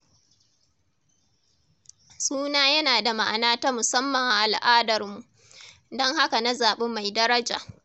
Suna yana da ma’ana ta musamman a al’adarmu, don haka na zaɓi mai daraja.